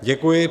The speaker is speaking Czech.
Děkuji.